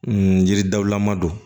N yiri dawulama don